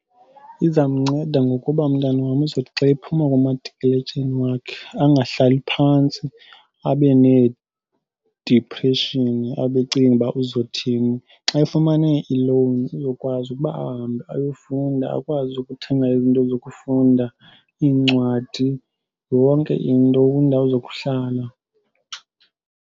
Izamnceda ngokuba umntana wam uzothi xa ephuma kwamatikiletsheni wakhe angahlali phantsi abe needipreshini abe ecinga uba uzothini. Xa efumana ilowuni uzokwazi ukuba ahambe ayofunda akwazi ukuthenga izinto zokufunda iincwadi, yonke into kwindawo zokuhlala.